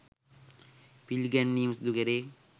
පිළිගැන්වීම සිදුකෙරේ.